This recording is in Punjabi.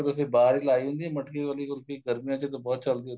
ਤੁਸੀਂ ਬਾਹਰ ਈ ਲਾਈ ਹੁੰਦੀ ਏ ਮਟਕੇ ਵਾਲੀ ਕੁਲਫੀ ਗਰਮੀਆਂ ਚ ਤਾਂ ਬਹੁਤ ਚੱਲਦੀ ਏ ਉੱਥੇ